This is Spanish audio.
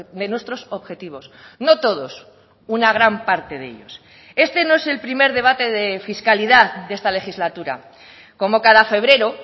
de nuestros objetivos no todos una gran parte de ellos este no es el primer debate de fiscalidad de esta legislatura como cada febrero